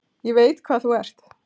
Ég veit hvað þú ert.